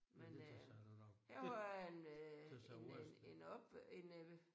Trods alt selv have lavet. Det ser ud som